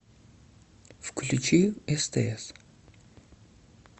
включи стс